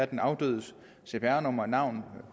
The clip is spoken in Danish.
den afdødes cpr nummer og navn